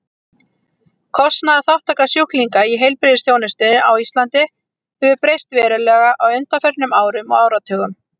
Kostnaðarþátttaka sjúklinga í heilbrigðisþjónustunni á Íslandi hefur breyst verulega á undanförnum árum og áratugum.